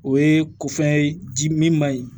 O ye ko fɛn ye di min ma ye